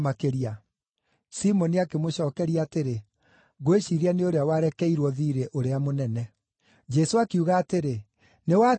Simoni akĩmũcookeria atĩrĩ, “Ngwĩciiria nĩ ũrĩa warekeirwo thiirĩ ũrĩa mũnene.” Jesũ akiuga atĩrĩ, “Nĩwatua wega.”